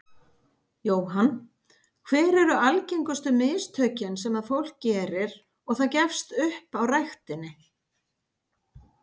Jóhann: Hver eru algengustu mistökin sem að fólk gerir og það gefst upp á ræktinni?